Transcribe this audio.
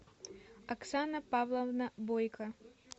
оксана павловна бойко